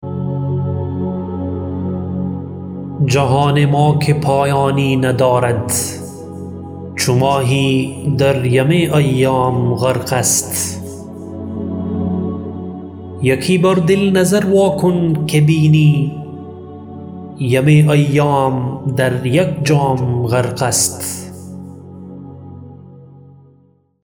جهان ما که پایانی ندارد چو ماهی در یم ایام غرق است یکی بر دل نظر وا کن که بینی یم ایام در یک جام غرق است